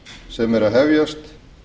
sem er að hefjast